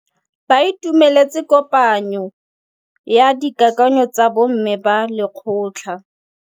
Ba itumeletse kôpanyo ya dikakanyô tsa bo mme ba lekgotla.